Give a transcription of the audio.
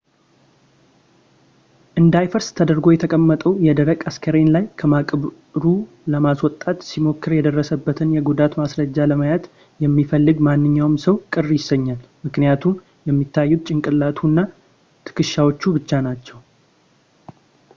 እንዳይፈርስ ተደርጎ የተቀመጠው የደረቀ አስክሬን ላይ ከመቃብሩ ለማስወጣት ሲሞከር የደረሰበትን የጉዳት ማስረጃ ለማየት የሚፈልግ ማንኛውም ሰው ቅር ይሰኛል ምክኒያቱም የሚታዩት ጭንቅላቱ እና ትከሻዎቹ ብቻ ናቸው